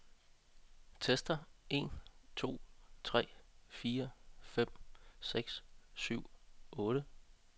Tester en to tre fire fem seks syv otte.